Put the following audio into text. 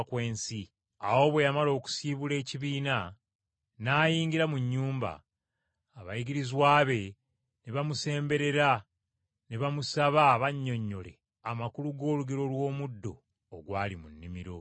Awo bwe yamala okusiibula ekibiina n’ayingira mu nnyumba, abayigirizwa be ne bamusemberera ne bamusaba abannyonnyole amakulu g’olugero lw’omuddo ogwali mu nnimiro.